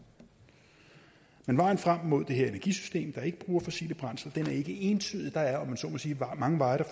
men vejen frem mod det her energisystem der ikke bruger fossile brændsler er ikke entydig der er om jeg så må sige mange veje der